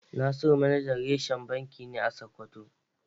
Nasiru manajar reshen banki ne a Sokoto ce.